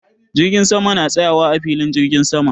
Jirgin sama na tsayawa a filin jirgin sama.